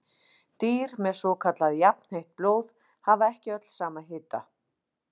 Dýr með svokallað jafnheitt blóð hafa ekki öll sama hita.